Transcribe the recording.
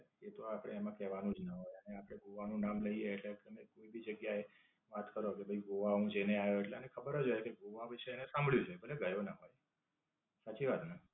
એ તો આપડે એમાં કહેવાનું જ ના હોય. ને આપડે ગોવા નું નામ લઈએ એટલે તમે કોઈ ભી જગ્યા એ અઠવાડિયા સુધી ગોવા જઈને આવ્યો એટલે એને ખબર જ હોય કે ગોવા ભી છે ને સાંભળ્યું છે. ભલે ગયો ના હોય. સાચી વાત ને?